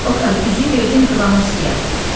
Oqtay, üzüyü verdim İvanovskiyə.